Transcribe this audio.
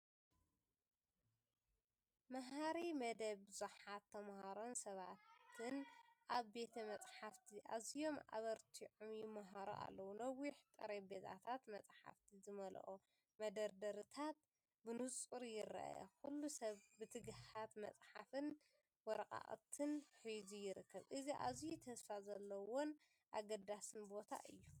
መሃሪ መደብ ! ብዙሓት ተማሃሮን ሰባትን ኣብ ቤተ መጻሕፍቲ ኣዝዮም ኣበርቲዖም ይመሃሩ ኣለዉ። ነዊሕ ጠረጴዛታትን መጽሓፍቲ ዝመልአ መደርደሪታትን ብንጹር ይርአ። ኩሉ ሰብ ብትግሃት መጽሓፍን ወረቓቕትን ሒዙ ይርከብ። እዚ ኣዝዩ ተስፋ ዘለዎን ኣገዳስን ቦታ እዩ!